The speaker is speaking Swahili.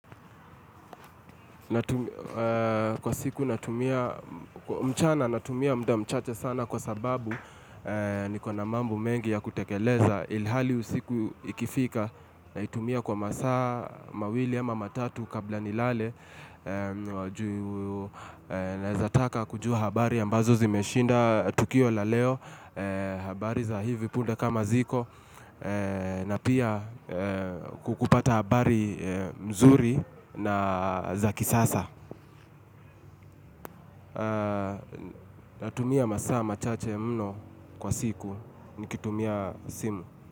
Kwa siku natumia mchana natumia mda mchache sana kwa sababu nikona mambo mengi ya kutekeleza ilihali usiku ikifika na itumia kwa masa mawili ama matatu kabla nilale Naezataka kujua habari ambazo zimeshinda Tukio la leo habari za hivi punde kama ziko na pia kukupata habari mzuri na za kisasa Natumia masaama chache mno kwa siku Nikitumia simu.